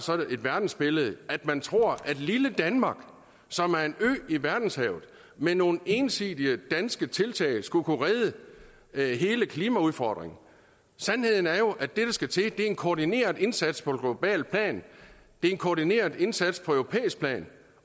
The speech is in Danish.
sådan et verdensbillede at man tror at lille danmark som er en ø i verdenshavet med nogle ensidige danske tiltag skulle kunne løse hele klimaudfordringen sandheden er jo at det der skal til er en koordineret indsats på globalt plan det er en koordineret indsats på europæisk plan